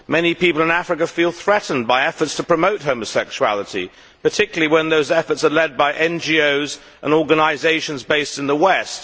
Many people in Africa feel threatened by efforts to promote homosexuality, particularly when those efforts are led by NGOs and organisations based in the west.